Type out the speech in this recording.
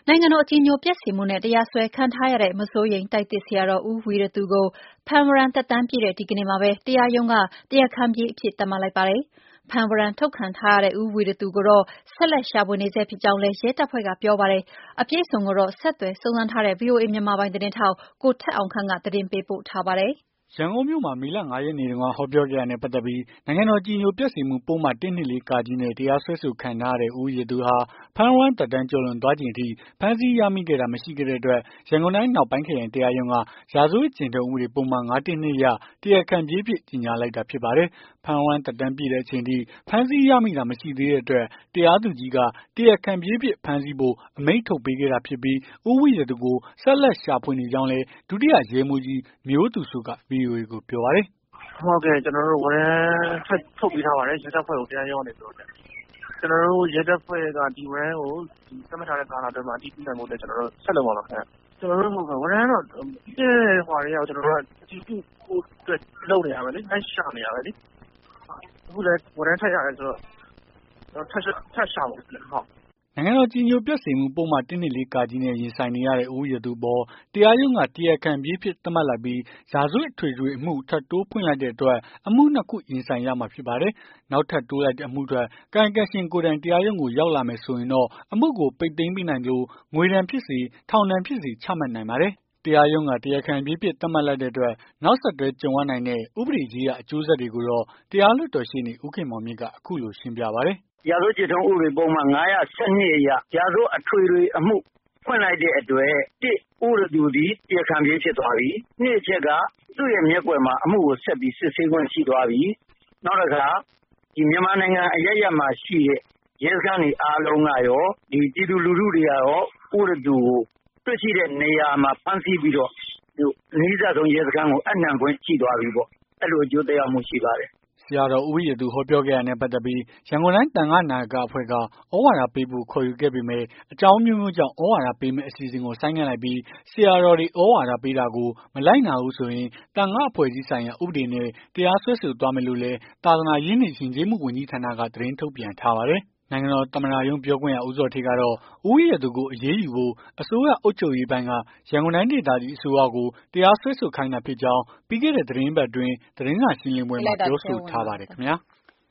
ိုင်ငံတော် အကြည်ညိုပျက်စေမှုနဲ့ တရားစွဲခံထားရတဲ့ မစိုးရိမ်တိုက်သစ်ဆရာတော် ဦးဝီရသူ ကို ဖမ်းဝရမ်းသက်တမ်းပြည့်တဲ့ ဒီနေ့မှာပဲ တရားရုံးက တရားခံပြေးအဖြစ် သတ်မှတ်လိုက်ပါတယ်။ ဖမ်းဝရမ်းထုတ်ခံထားရတဲ့ ဦးဝီရသူကိုတော့ ဆက်လက် ရှာဖွေနေဆဲ ဖြစ်ကြောင်းလည်း ရဲတပ်ဖွဲ့က ပြောပါတယ်။ အပြည့်အစုံကိုတော့ ဆက်သွယ်စုံစမ်းထားတဲ့ ဗွီအိုအေ မြန်မာပိုင်း သတင်းထောက် ကိုထက်အောင်ခန့်က သတင်းပေးပို့ထားပါတယ်။ ရန်ကုန်မြို့မှာ မေလ ၅ ရက်နေ့တုန်းက ဟောပြောခဲ့တာနဲ့ ပတ်သက်ပြီး နိုင်ငံတော် အကြည်ညိုပျက်စေမှု ပုဒ်မ ၁၂၄ နဲ့ တရားစွဲခံထားရတဲ့ ဦးဝီရသူဟာ ဖမ်းဝရမ်းသက်တမ်း ကျော်လွန်သွားချိန် အထိ ဖမ်းဆီးရမိတာ မရှိခဲ့တဲ့အတွက် ရန်ကုန်တိုင်း အနောက်ပိုင်း ခရိုင်တရားရုံးက ရာဇဝတ်ကျင့်ထုံး ဥပဒေပုဒ်မ ၅၁၂ အရ တရားခံပြေးအဖြစ် ကြေငြာလိုက်တာ ဖြစ်ပါတယ်။ ဖမ်းဝရမ်း သက်တမ်းပြည့်တဲ့ အချိန်အထိ ဖမ်းဆီးရမိတာ မရှိသေးတဲ့အတွက် တရားသူကြီးက တရားခံပြေးအဖြစ် ဖမ်းဆီးဖို့ အမိန့်ထုတ်ပေးခဲ့တာဖြစ်ပြီး၊ ဦးဝီရသူကို ဆက်လက်ရှာဖွေနေကြောင်းလည်း ဒုတိယ ရဲမှူးကြီး မျိုးသူစိုးက ဗွီအိုအေကို ပြောပါတယ်။ "ကျနော်တို့ကို ဝရမ်းထပ်ထုတ်ပေးထားပါတယ်။ ရဲတပ်ဖွဲ့ကို တရားရုံးကနေပြီးတော့ ဒီဝရမ်းကို ကျနော်တို့ရဲတပ်ဖွဲ့က သတ်မှတ်ထားတဲ့ ကာလအတွင်းမှာ အတည်ပြုနိုင်ဖို့ ဆက်လုပ်မှာပါခင်ဗျ။ ကျွန်တော်တို့ ဝရမ်းကတော့ ပြီးခဲ့တဲ့ ဟိုဟာကတည်းက အတည်ပြုဖို့အတွက် လုပ်နေတာပဲလေ။ လိုက်ရှာနေတာပဲလေ။ အခုလည်း ဝရမ်းထပ်ရတယ်ဆိုတော့ ထပ်ရှာမှာပေါ့။" နိုင်ငံတော် အကြည်ညိုပျက်စေမှု ပုဒ်မ ၁၂၄ နဲ့ ရင်ဆိုင်နေရတဲ့ ဦးဝီရသူအပေါ် တရားရုံးက တရားခံပြေးအဖြစ် သတ်မှတ်လိုက်ပြီး ရာဇဝတ်အထွေထွေအမှု ထပ်ထိုးဖွင့်လိုက်တဲ့အတွက် အမှု နှစ် ခု ရင်ဆိုင်ရမှာ ဖြစ်ပါတယ်။ နောက်ထပ်တိုးလိုက်တဲ့ အမှုအတွက် ကာယံကံရှင်ကိုယ်တိုင် တရားရုံးကို ရောက်လာမယ် ဆိုရင်တော့ အမှုကို ပိတ်သိမ်းပေးနိုင်သလို ငွေဒဏ်ဖြစ်စေ၊ ထောင်ဒဏ်ဖြစ်စေ ချမှတ်နိုင်ပါတယ်။ တရားရုံးက တရားခံပြေးအဖြစ် သတ်မှတ်လိုက်တဲ့အတွက် နောက်ဆက်တွဲ ကြုံရနိုင်တဲ့ ဥပဒေရေးရာ အကျိုးဆက်တွေကိုတော့ တရားလွှတ်တော် ရှေ့နေ ဦးခင်မောင်မြင့်က အခုလို ရှင်းပြပါတယ်။ "ရာဇဝတ်ကျင့်ထုံး ဥပဒေပုဒ်မ ၅၁၂ အရ ရာဇဝတ်အထွေထွေအမှု ဖွင့်လိုက်တဲ့အတွက် ၁ ဦးဝီရသူသည် တရားခံပြေး ဖြစ်သွားပြီ ၂ အချက်က သူ့ရဲ့မျက်ကွယ်မှာ အမှုကို ဆက်ပြီး စစ်ဆေးခွင့်ရှိသွားပြီ နောက်တခါ မြန်မာနိုင်ငံ အရပ်ရပ်မှာရှိတဲ့ ရဲစခန်းတွေ အားလုံးကကော ပြည်သူလူထုတွေ အားလုံးကကော ဦးဝီရသူကို တွေ့ရှိတဲ့နေရာမှာ ဖမ်းဆီးပြီးတော့ အနီးစပ်ဆုံး ရဲစခန်းကို အပ်နှံခွင့်ရှိသွားပြီပေါ့။ အဲ့လိုအကျိုး သက်ရောက်မှု ရှိပါတယ်။" ဆရာတော် ဦးဝီရသူ ဟောပြောခဲ့တာနဲ့ ပတ်သက်ပြီး ရန်ကုန်တိုင်းသံဃနာယက အဖွဲ့က သြဝါဒပေးဖို့ ခေါ်ယူခဲ့ပေမယ့် အကြောင်းအမျိုးအမျိုးကြောင့် သြဝါဒပေးမယ့် အစီအစဉ်ကို ဆိုင်းငံ့လိုက်ပြီး ဆရာတော်တွေ သြဝါဒပေးတာကို မလိုက်နာဘူးဆိုရင် သံဃာ့အဖွဲ့အစည်းဆိုင်ရာ ဥပဒေနဲ့ တရားစွဲဆိုသွားမယ်လို့လည်း သာသနာရေးနှင့် ယဉ်ကျေးမှု ဝန်ကြီးဌာနက သတင်းထုတ်ပြန်ထားပါတယ်။ နိုင်ငံတော် သမ္မတရုံး ပြောခွင့်ရ ဦးဇော်ဌေးကတော့ ဦးဝီရသူကို အရေးယူဖို့ အစိုးရ အုပ်ချုပ်ရေးပိုင်းက ရန်ကုန်တိုင်းဒေသကြီး အစိုးရကို တရားစွဲဆိုခိုင်းတာဖြစ်ကြောင်း ပြီးခဲ့တဲ့ သီတင်းပတ်အတွင်း သတင်းစာရှင်းလင်းပွဲမှာ ပြောဆိုထားပါတယ်ခင်ဗျာ။